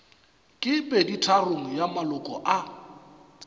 ke peditharong ya maloko a